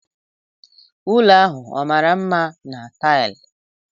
Ụlọ ahụ ọ mara mma na taịlị?